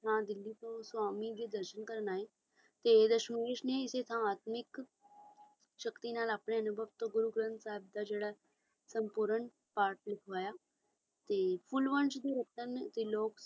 ਹਾਂ ਦਿੱਲੀ ਤੋਂ ਸ੍ਵਾਮੀ ਜੀ ਦਰਸ਼ਨ ਕਰਨ ਲਈ ਆਏ ਤੇ ਪੀੜਤ ਨੇ ਸ਼ਹੀਦੀ ਤਾਂ ਅਸੀਂ ਇੱਕ ਸ਼ਕਤੀ ਨਾਲ ਆਪਣੇ ਨੂੰ ਵਕਤ ਗੁਰੂ ਗ੍ਰੰਥ ਸਾਹਿਬ ਦਾ ਜਿਹੜਾ ਸੰਪੂਰਨ ਪਾਠ ਲਿਖਵਾਇਆ ਸੀ ਬਹੁਤੇ ਲੋਕ